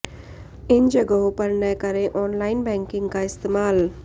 इन जगहों पर न करें ऑनलाइन बैंकिंग का इस्तेमाल